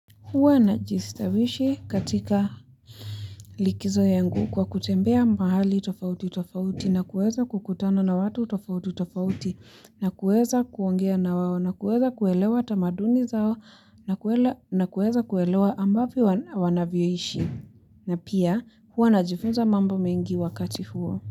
Huwa najistawishi katika likizo yangu kwa kutembea mahali tofauti tofauti, na kuweza kukutana na watu tofauti tofauti, na kuweza kuongea na wao na kuweza kuelewa tamaduni zao na kuweza kuelewa ambavyo wanavyoishi, na pia huwa najifunza mambo mengi wakati huo.